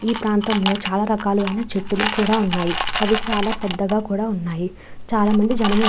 ఈ ప్రాంతంలో చాలా రకాలైన చెట్లు కూడా ఉన్నాయి. అవి చాలా పద్ధతిగా కూడా ఉన్నాయి చాలామంది జనాలు --